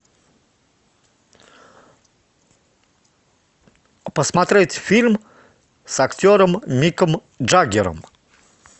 посмотреть фильм с актером миком джаггером